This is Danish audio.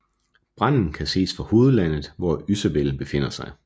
Branden kan ses fra hovedlandet hvor Ysabel befinder sig